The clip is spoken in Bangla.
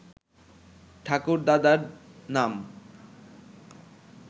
ঠাকুরদাদার নাম